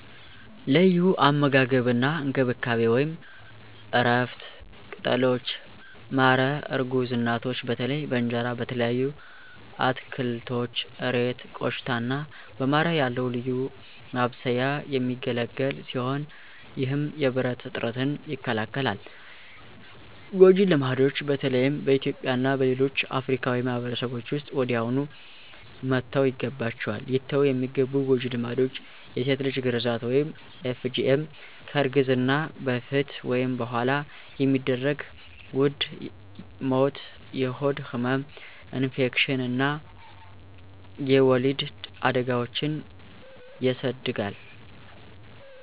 ለዩ አመጋገብ አና እንከብካቤ(እረፍት፣ ቅጠሎች፣ ማረ እርጉዝ እናቶች በተለይ በእንጀራ፣ በተለያዩ አትከልቶች (እሬት፣ ቆሽታ )አና በማረ ያለዉ ልዩ ማብሰያ የሚገለግል ሲሆነ ይህም የብረት እጥረትን ይከላከላል። ጎጀ ልማድች በተለይም በእትዩጵያ እና በሌሎች አፍርካዊ ማህበርሰቦች ዉስጥ ወዲያውኑ መተውይገባችዋል። ሊተዉ የሚገቡ ጎጂ ልማዶች የሴት ልጅ ግራዛት (FGM) ከእርግዝና በፈት ወይም በኋላ የሚደረግ ዉድ ሞት፣ የሆድ ህመም፣ ኢንፌክሽን አና የወሊድ አዳጋዎችን የስድጋል